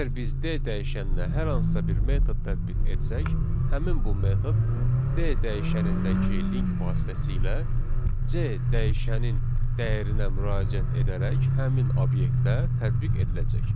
Əgər biz D dəyişəninə hər hansısa bir metod tətbiq etsək, həmin bu metod D dəyişənindəki link vasitəsilə C dəyişənin dəyərinə müraciət edərək həmin obyektə tətbiq ediləcək.